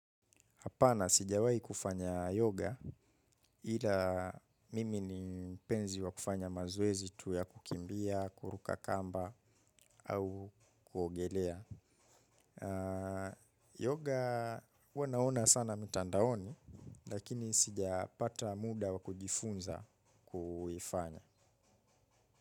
Hapana sijawai kufanya yoga, ila mimi ni mpenzi wa kufanya mazoezi tu ya kukimbia, kuruka kamba au kuogelea. Yoga huwa naona sana mitandaoni, lakini sijapata muda wa kujifunza kuifanya.